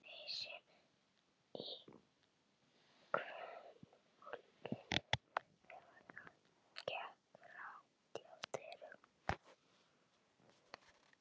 Þysinn í kvenfólkinu þegar það gekk hratt hjá dyrunum?